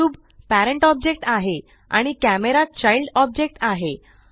cube parent object आहे आणि camera child object आहे